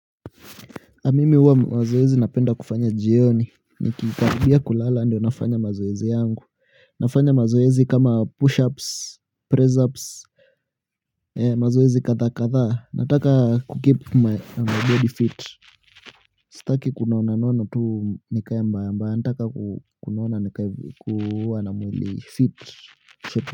Mimi huwa mazoezi napenda kufanya jioni nikikaribia kulala ndio nafanya mazoezi yangu. Nafanya mazoezi kama push ups, press ups, mazoezi kadha kadha. Nataka kukeep my body fit. Sitaki kunonanona tu nikae mbaya mbaya. Nataka kunona nikae kuwa na mwili fit. Sip.